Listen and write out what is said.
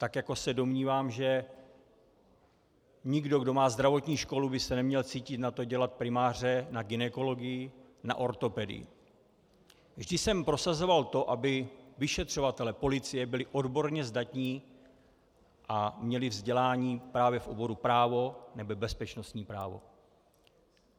Tak jako se domnívám, že nikdo, kdo má zdravotní školu, by se neměl cítit na to dělat primáře na gynekologii, na ortopedii, vždy jsem prosazoval to, aby vyšetřovatelé policie byli odborně zdatní a měli vzdělání právě v oboru právo nebo bezpečnostní právo.